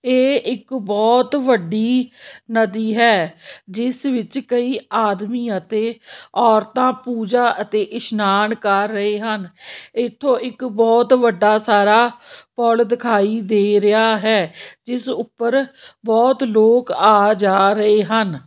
ਏਹ ਇੱਕ ਬੋਹੁਤ ਵੱਡੀ ਨਦੀ ਹੈ ਜਿੱਸ ਵਿੱਚ ਕਈ ਆਦਮੀ ਅਤੇ ਔਰਤਾਂ ਪੂਜਾ ਅਤੇ ਇਸ਼ਨਾਨ ਕਰ ਰਹੇ ਹਨ ਏੱਥੋਂ ਇੱਕ ਬੋਹੁਤ ਵੱਡਾ ਸਾਰਾ ਪੁੱਲ ਦਿਖਾਈ ਦੇ ਰਿਹਾ ਹੈ ਜਿੱਸ ਊਪਰ ਬੋਹੁਤ ਲੋਕ ਆ ਜਾ ਰਹੇ ਹਨ।